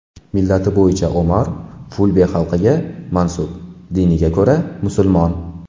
Millati bo‘yicha Omar fulbe xalqiga mansub, diniga ko‘ra musulmon.